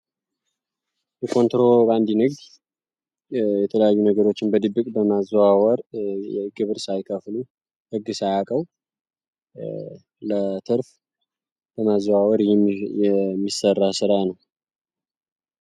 የኮንትሮባንድ ንግድ የተለዩ ነገሮችን በድብቅ በማዙዋወር የግብር ሳይከፍሉ ህግ ሳያውቅው ለትርፍ በማዘዋወር የሚሠራ ሥራ ነው።